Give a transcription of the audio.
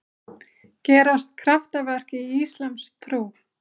Gerast kraftaverk í íslamstrú?